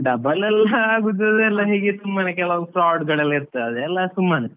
Double ಎಲ್ಲ ಆಗುದು ಅದೆಲ್ಲ ಹೀಗೆ ಸುಮ್ಮನೆ ಕೆಲವು fraud ಗಳೆಲ್ಲ ಇರ್ತವೆ ಅದೆಲ್ಲ ಸುಮ್ಮನೆ.